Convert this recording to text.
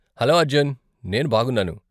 Hello Arjun, నేను బాగున్నాను.